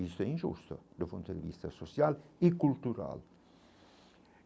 Isso é injusto, do ponto de vista social e cultural.